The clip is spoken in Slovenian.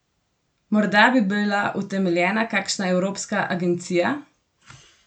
Morda bi bila utemeljena kakšna evropska agencija?